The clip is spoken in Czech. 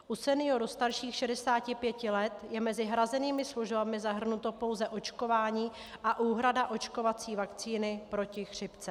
U seniorů starších 65 let je mezi hrazenými službami zahrnuto pouze očkování a úhrada očkovací vakcíny proti chřipce.